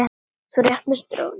Þú rétt misstir af honum.